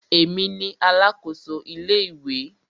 Èmi ni alákòso ilé ìwé.